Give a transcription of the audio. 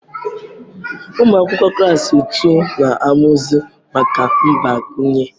Ụmụ akwụkwọ klaasị tuu na-amụzi maka mgbakwunye.